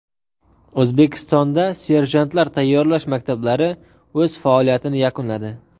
O‘zbekistonda serjantlar tayyorlash maktablari o‘z faoliyatini yakunladi.